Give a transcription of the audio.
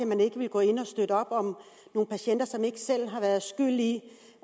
man ikke ville gå ind og støtte op om nogle patienter som ikke selv er skyld i